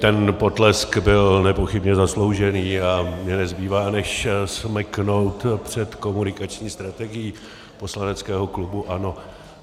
Ten potlesk byl nepochybně zasloužený a mně nezbývá než smeknout před komunikační strategií poslaneckého klubu ANO.